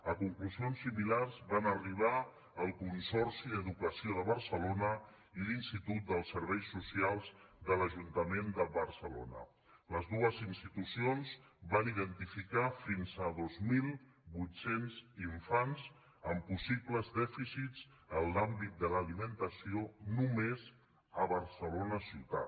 a conclusions similars van arribar el consorci d’educació de barcelona i l’institut dels serveis socials de l’ajuntament de barcelona les dues institucions van identificar fins a dos mil vuit cents infants amb possibles dèficits en l’àmbit de l’alimentació només a barcelona ciutat